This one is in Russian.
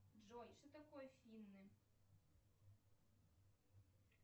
джой что такое финны